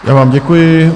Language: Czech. Já vám děkuji.